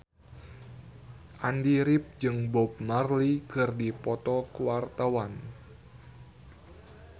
Andy rif jeung Bob Marley keur dipoto ku wartawan